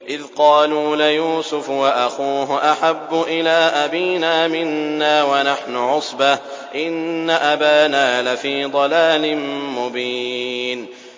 إِذْ قَالُوا لَيُوسُفُ وَأَخُوهُ أَحَبُّ إِلَىٰ أَبِينَا مِنَّا وَنَحْنُ عُصْبَةٌ إِنَّ أَبَانَا لَفِي ضَلَالٍ مُّبِينٍ